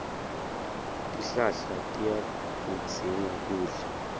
tihlahla tiyakudzinga kudla